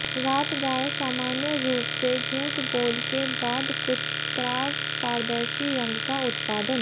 रात गाय सामान्य रूप से झूठ बोल के बाद कुछ स्त्राव पारदर्शी रंग का उत्पादन